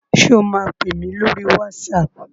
Sọ ma pèmí lórí WhatsApp?